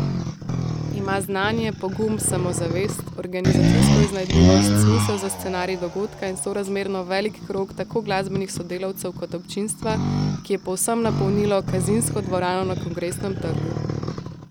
Ima znanje, pogum, samozavest, organizacijsko iznajdljivost, smisel za scenarij dogodka in sorazmerno velik krog tako glasbenih sodelavcev kot občinstva, ki je povsem napolnilo Kazinsko dvorano na Kongresnem trgu.